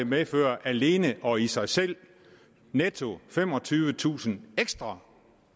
medfører alene og i sig selv netto femogtyvetusind ekstra